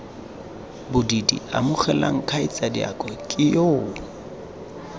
bobididi amogelang kgaitsadiake ke yoo